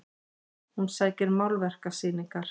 Hún sækir málverkasýningar